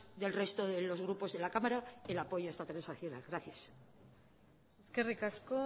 del resto de los grupos de la cámara el apoyo a esta transaccional gracias eskerrik asko